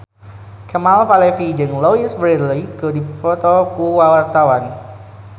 Kemal Palevi jeung Louise Brealey keur dipoto ku wartawan